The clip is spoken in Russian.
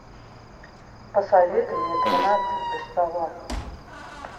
посоветуй мне тринадцать за столом